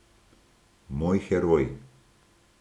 Moj heroj.